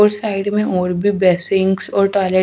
उस साइड में और भी बेशिंग्स और टॉयलेट --